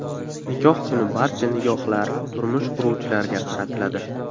Nikoh kuni barcha nigohlar turmush quruvchilarga qaratiladi.